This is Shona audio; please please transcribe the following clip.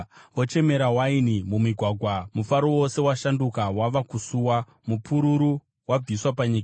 Vochemera waini mumigwagwa; mufaro wose washanduka wava kusuwa, mupururu wabviswa panyika.